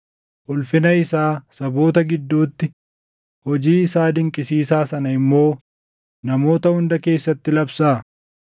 Ulfina isaa saboota gidduutti, hojii isaa dinqisiisaa sana immoo namoota hunda keessatti labsaa.